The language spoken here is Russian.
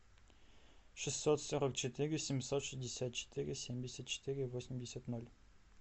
шестьсот сорок четыре семьсот шестьдесят четыре семьдесят четыре восемьдесят ноль